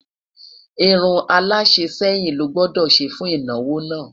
irún ala sẹyìn ló gbódò ṣé fún ìnáwó nà